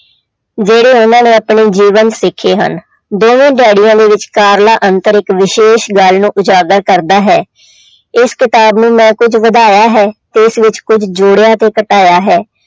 ਜਿਹੜੇ ਉਹਨਾਂ ਨੂੰ ਆਪਣੇ ਜੀਵਨ ਸਿੱਖੇ ਹਨ ਦੋਵੇਂ ਡੈਡੀਆਂ ਦੇ ਵਿਚਕਾਰਲਾ ਅੰਤਰ ਇੱਕ ਵਿਸ਼ੇਸ਼ ਗੱਲ ਨੂੰ ਉਜਾਗਰ ਕਰਦਾ ਹੈ ਇਸ ਕਿਤਾਬ ਨੂੰ ਮੈਂ ਕੁੱਝ ਵਧਾਇਆ ਹੈ ਇਸ ਵਿੱਚ ਕੁੱਝ ਜੋੜਿਆ ਤੇ ਘਟਾਇਆ ਹੈ।